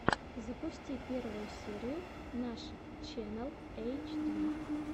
запусти первую серию нашид ченнал эйчди